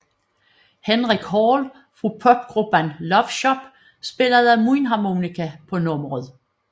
Henrik Hall fra popgruppen Love Shop spillede mundharmonika på nummeret